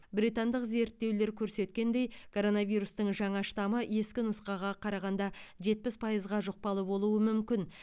британдық зерттеулер көрсеткендей коронавирустың жаңа штамы ескі нұсқаға қарағанда жетпіс пайызға жұқпалы болуы мүмкін